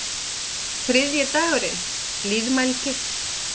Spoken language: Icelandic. Þriðji dagurinn: Blíðmælgi.